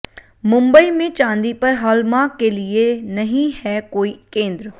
मुंबई में चांदी पर हॉलमार्क के लिए नहीं है कोई केंद्र